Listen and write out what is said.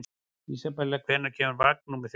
Isabella, hvenær kemur vagn númer þrjátíu og tvö?